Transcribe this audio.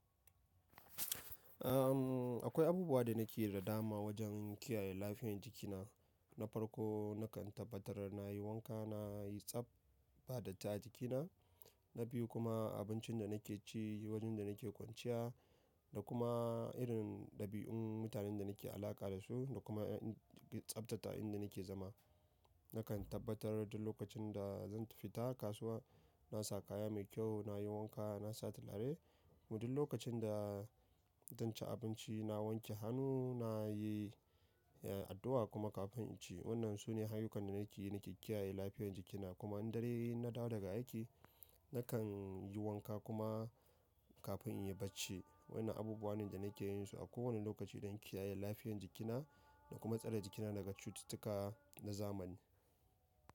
Ahm, akwai abubuwa da nake yi da dama wajen kiyaye lafiyar jikina. Na farko, nakan tabbatar na yi wanka, na yi tsab ba datti a jikina. Na biyu kuma abincin da nake ci, wajen da nake kwanciya da kuma irin ɗabi'un mutanen da nake alaƙa da su da kuma tsabta ta inda nake zama. Nakan tabbatar duk lokacin da zan tafi ta kasuwa na saka kaya mai kyau, na yi wanka, na sa tulare. Kuma duk lokacin da zan ci abinci na wanke hannu, na yi, eh, addu'a kuma kafin in ci. Waɗannan su ne hanyoyin da nake yi nake kiyaye lafiyar jikina. Kuma in dare yayi in na dawo daga aiki, nakan yi wanka kuma kafin in yi bacci. Waɗannan abubuwa ne da nake yin su a kowane lokaci don kiyaye lafiyar jikina da kuma tsare jikina daga cututtuka na zamani.